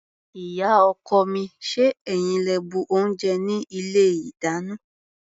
Ìyá-ọkọ mi, ṣé ẹ̀yin lẹ bu oúnjẹ ní ilé-ìdáná?